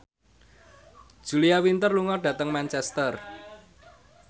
Julia Winter lunga dhateng Manchester